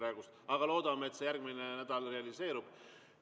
Aga loodame, et see järgmisel nädalal realiseerub.